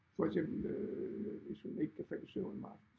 For eksempel hvis hun ikke kan falde i søvn om aftenen